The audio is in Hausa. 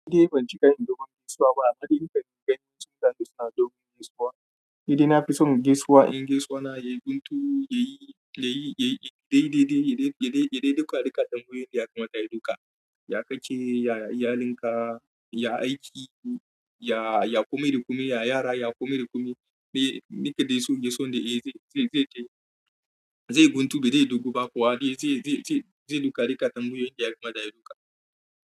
Ni dai ban ji ƙarin dogon gaisuwa ba, hadin kan gani sun zata suna dogon gaisuwa. Ni dai na fi son gaisuwa, in gaisuwa na ya guntu, ya yi, ya yi, ya yi dai dai dai, ya dai, ya dai, ya dai duka dukan tambayoyin da ya kamata ya duka. Ya ka ke, ya iyalinka, ya aiki, ya, ya kome da kome, ya yara, ya kome da kome. Me, me ka dai so gaisuwa da ita zai, zai, zai yi, zai guntu ba dai ya dogu ba kuwa dai zai, zai, zai, zai duka dukan tambayoyin da ya kamata ya duka.